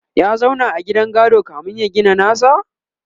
ya zauna a gidan gado kamin ya gina nasa?